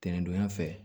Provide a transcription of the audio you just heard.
Tɛnɛndonya fɛ